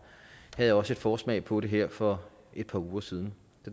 havde også en forsmag på det her for et par uger siden